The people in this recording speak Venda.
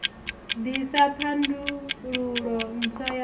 ḓ isa thandululo ntswa ya